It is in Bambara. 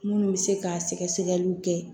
Minnu bɛ se ka sɛgɛsɛgɛliw kɛ